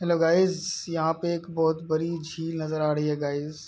Hello guys यहाँ पे एक बहोत बड़ी झील नज़र आ रही हैं गाइज .